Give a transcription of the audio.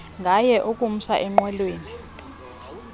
ngaye ukumsa enqwelweni